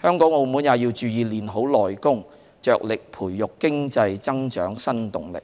香港和澳門也要注意練好"內功"，着力培育經濟增長新動力。